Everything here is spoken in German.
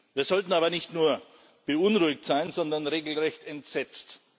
Wir sollten aber nicht nur beunruhigt sein, sondern regelrecht entsetzt.